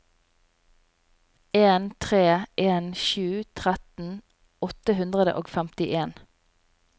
en tre en sju tretten åtte hundre og femtien